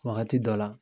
Wagati dɔ la